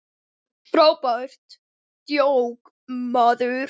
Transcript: Frábært djók, maður!